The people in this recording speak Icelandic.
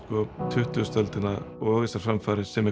tuttugustu öldina og þessar framfarir sem